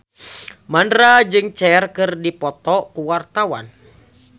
Mandra jeung Cher keur dipoto ku wartawan